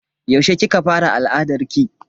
Yaushe kika fara al'adarki?